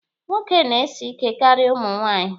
Nwoke na-esi ike karịa ụmụ nwaanyị.